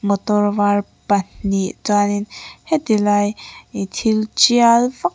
motor var pahnih chuanin heti lai ih thil tial vak--